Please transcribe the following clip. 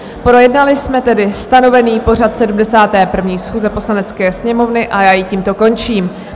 Projednali jsme tedy stanovený pořad 71. schůze Poslanecké sněmovny, a já ji tímto končím.